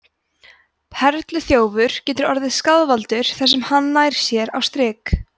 perluþjófur getur orðið skaðvaldur þar sem hann nær sér á strik